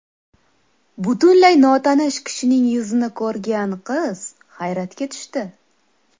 Butunlay notanish kishining yuzini ko‘rgan qiz hayratga tushdi.